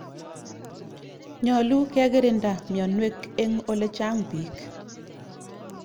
Nyalu kekirinda mianwek eng' olechang' piik.